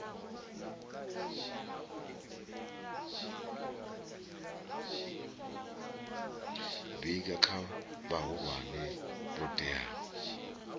vhiga kha vhahulwane vho teaho